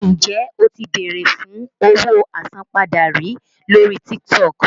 Ǹjẹ́ o ti bèrè fún owó àsanpadà rí lórí TikTok?